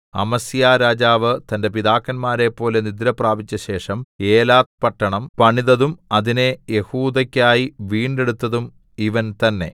അമസ്യാരാജാവ് തന്റെ പിതാക്കന്മാരെപ്പോലെ നിദ്രപ്രാപിച്ചശേഷം ഏലത്ത് പട്ടണം പണിതതും അതിനെ യെഹൂദക്കായി വീണ്ടെടുത്തതും ഇവൻ തന്നേ